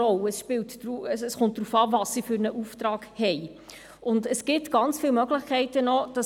Ob Steuerdetektive oder Steuerinspektoren – wie man sie nennt, ist eigentlich egal.